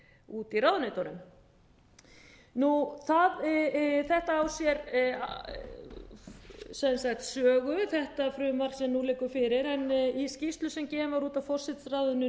úti í ráðuneytunum þetta á sér sögu þetta frumvarp sem nú liggur fyrir en í skýrslu sem gefin var út af forsætisráðuneytinu